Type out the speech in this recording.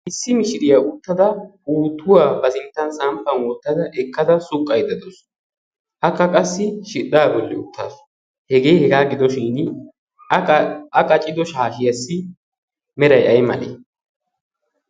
Issi mishshiriyaa uttida puuttuwa ba sinttan samppan wottadda suqqaydda da'awus. Akka qassi shidhdha bolli uttaasu. Hegee hegaa gidoshin a qaccido shaashshiyassi meray aymale?